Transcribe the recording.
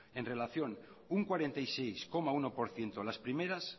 en relación un cuarenta y seis coma uno por ciento las primeras